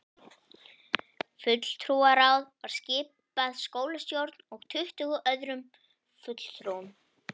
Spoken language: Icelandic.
Fulltrúaráð var skipað skólastjórn og tuttugu öðrum fulltrúum.